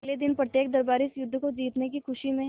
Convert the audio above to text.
अगले दिन प्रत्येक दरबारी इस युद्ध को जीतने की खुशी में